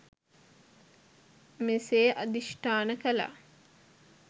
මෙසේ අධිෂ්ඨාන කළා.